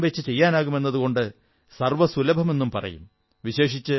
എവിടെയും വച്ചു ചെയ്യാനാകും എന്നതുകൊണ്ട് സർവ്വസുലഭമെന്നു പറയും